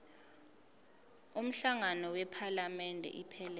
umhlangano wephalamende iphelele